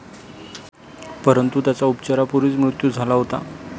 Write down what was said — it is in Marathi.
परंतु त्याचा उपचारापूर्वीच मृत्यू झाला होता.